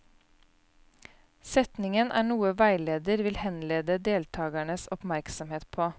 Setningen er noe veileder vil henlede deltakernes oppmerksomhet på.